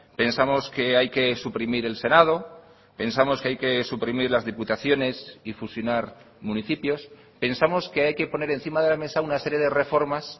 pensamos que hay que suprimir el senado pensamos que hay que suprimir las diputaciones y fusionar municipios pensamos que hay que poner encima de la mesa una serie de reformas